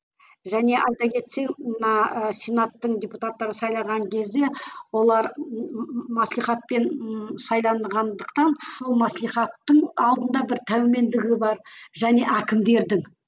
және айта кетсең мына ы сенаттың депутаттарын сайлаған кезде олар маслихатпен ы сайланғандықтан ал маслихаттың алдында бір тәумендігі бар және әкімдердің